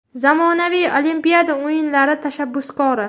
Zamonaviy Olimpiyada o‘yinlari tashabbuskori.